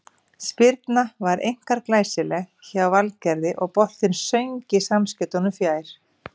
Spyrnan var einkar glæsileg hjá Valgerði og boltinn söng í samskeytunum fjær.